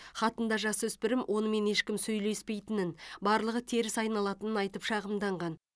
хатында жасөспірім онымен ешкім сөйлеспейтінін барлығы теріс айналатынын айтып шағымданған